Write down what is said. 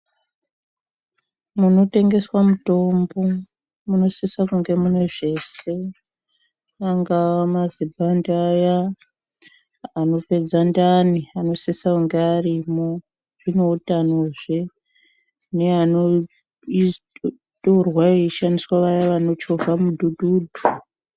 Munotengeswa mutombo munosise kunge munezveshe angava mazibhande aya anopedza ndani anosise kenge arimwo zvineutano zvee neanotorwa eyishandiswa vaye vanochovha mudhudhudhu.